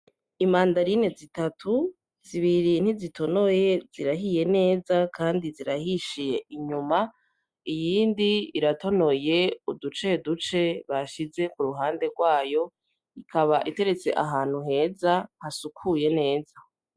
Imandarine zitatu ,zibiri ntizitonoye zirahiye ne kandi zirahishiye inyuma , iyindi iratonoye uduceduce bashize ku ruhande rwayo ikaba iteretse ahantu heza hasukuye neza.